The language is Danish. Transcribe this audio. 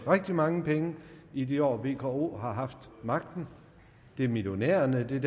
rigtig mange penge i de år vko har haft magten det er millionærerne og det er